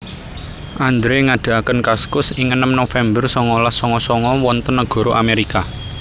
Andre ngadekaken Kaskus ing enem November songolas songo songo wonten negoro Amerika